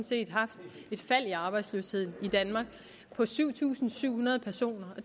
set haft et fald i arbejdsløsheden i danmark på syv tusind syv hundrede personer